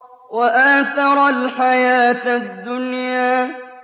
وَآثَرَ الْحَيَاةَ الدُّنْيَا